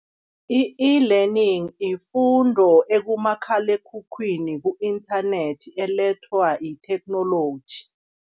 I-eLearning ifundo ekumakhalekhukhwini ku-inthanethi elethwa itheknoloji.